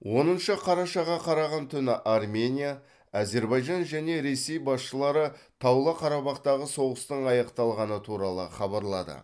оныншы қарашаға қараған түні армения әзербайжан және ресей басшылары таулы қарабақтағы соғыстың аяқталғаны туралы хабарлады